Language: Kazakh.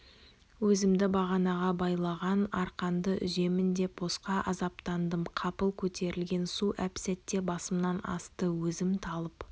өзімді бағанаға байлаған арқанды үземін деп босқа азаптандым қапыл көтерілген су әп-сәтте басымнан асты өзім талып